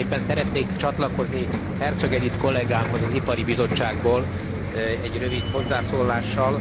Szeretnék csatlakozni Herczog Edit kollegámhoz, az Ipari Bizottságból egy rövid hozzászólással.